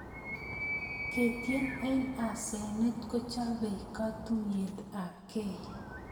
ketien eng asenet kochapei katuyet apkei